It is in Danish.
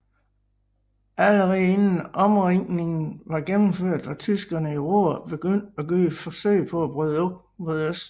Allerede inden omringningen var gennemført var tyskerne i Ruhr begyndt at gøre forsøg på at bryde ud mod øst